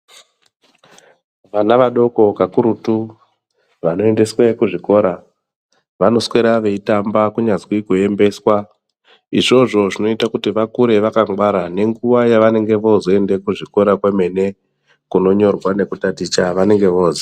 Vana vadoko ka kurutu vano endeswe ku zvikora vano swera vei tamba kunyazwi ku embeswa izvozvo zvinoite kuti vakure vaka ngwara ne nguva ya vanenge vozoende ku zvikora kwemene kuno nyorwa neku taticha vanenge voziya.